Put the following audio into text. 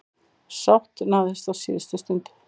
Sátt náðist á síðustu stundu.